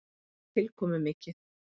Það er tilkomumikið.